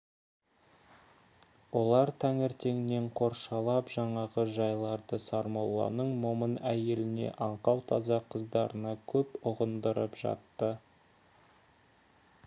олар таңертеңнен қоршалап жаңағы жайларды сармолланың момын әйеліне аңқау таза қыздарына көп ұғындырып жатты